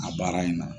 A baara in na